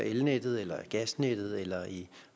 i elnettet gasnettet eller